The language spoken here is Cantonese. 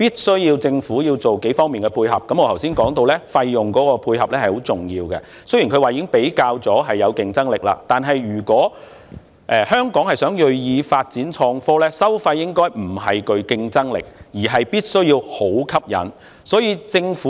雖然政府表示，已經比較過本港與其他地區的收費，認為本港的收費具競爭力，但是香港若銳意發展創科，收費不但要具競爭力，還必須有吸引力。